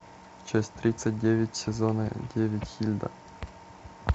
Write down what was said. часть тридцать девять сезона девять хильда